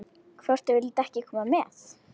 Hvort þau vildu ekki koma með?